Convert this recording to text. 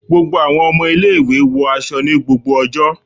Gbogbo àwọn ọmọ ilé-ìwé wọ aṣọ ni gbogbo ọjọ́